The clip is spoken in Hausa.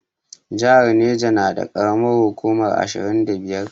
Jihar Neja na da karamar hukuma ashirin da biyar